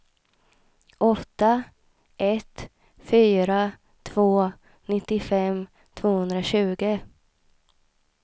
åtta ett fyra två nittiofem tvåhundratjugo